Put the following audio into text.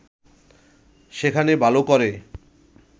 সেখানে ভালো করে